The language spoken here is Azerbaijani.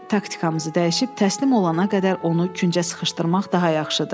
Taktikamızı dəyişib təslim olana qədər onu küncə sıxışdırmaq daha yaxşıdır.